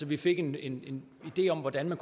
vi fik en en idé om hvordan man